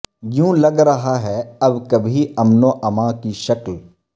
یوں لگ رہا ہے اب کبھی امن و اماں کی شکل